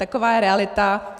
Taková je realita.